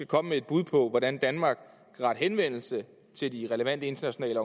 komme med et bud på hvordan danmark kan rette henvendelse til de relevante internationale